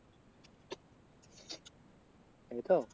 তাইতো?